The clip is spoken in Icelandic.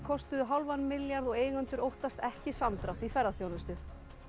kostuðu hálfan milljarð og eigendur óttast ekki samdrátt í ferðaþjónustu